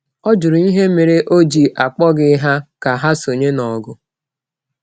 Ha jụrụ ihe mere o ji akpọghị ha ka ha sonye n’ọgụ.